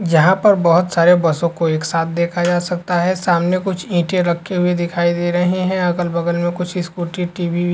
यहाँ पर बहुत सारे बसों को एक साथ देखा जा सकता है। सामने कुछ ईटें रखी हुई दिखाई दे रही हैं। अगल बगल में कुछ स्कूटी टी.वी --